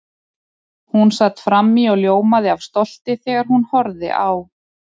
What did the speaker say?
Hún sat frammí og ljómaði af stolti þegar hún horfði á